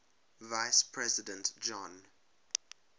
vice president john